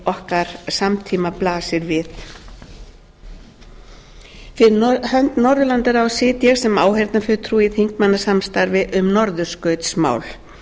okkar samtíma blasir við fyrir hönd norðurlandaráðs sit ég sem áheyrnarfulltrúi í þingmannasamstarfi um norðurskautsmál